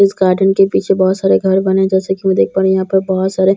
इस गार्डन के पीछे बहुत सारे घर बने जैसे की मैं देख पा रही हूँ यहाँ पे बहुत सारे ह--